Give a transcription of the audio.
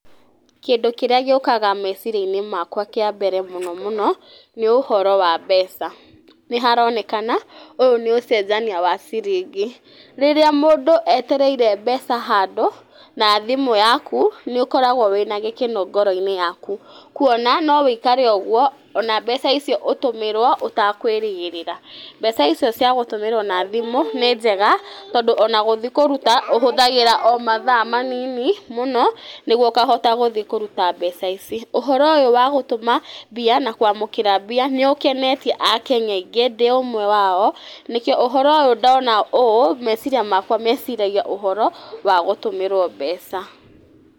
Kĩndũ kĩrĩa gĩũkaga meciria-inĩ makwa kĩa mbere mũno mũno, nĩ ũhoro wa mbeca. Nĩ haronekana ũyũ nĩ ũcenjania wa ciringi. Rĩrĩa mũndũ etereire mbeca handũ na thimũ yaku, nĩ ũkoragwo wĩna gĩkeno mũno ngoro-inĩ yaku. Kuona no ũikare ũguo ona mbeca icio ũtũmĩrwo ũtakwĩrĩgĩrĩra. Mbeca icio cia gũtũmĩrwo na thimũ nĩ njega tondũ ona gũthiĩ kũruta ũhũthagĩra o mathaa manini mũno nĩguo ũkahota gũthiĩ kũruta mbeca ici. Ũhoro ũyũ wa gũtũma mbia na kwamũkĩra mbia nĩ ũkenetie akenya aingĩ ndĩ ũmwe wao. Nikĩo ũhoro ũyũ ndona ũũ meciria makwa meciragia ũhoro wa gũtũmĩrwo mbeca.